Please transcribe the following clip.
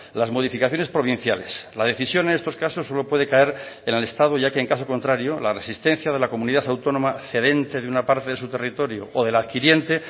las modificaciones provinciales la decisión en estos casos solo puede caer en el estado ya que en caso contrario la resistencia de la comunidad autónoma cedente de una parte de su territorio o de la adquiriente